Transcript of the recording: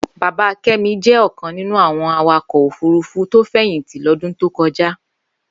Bàbá Kemi jẹ̀ ọkãn ninú awọn àwákọ ófùrùfù tó fẹyintí lọdún tókọjá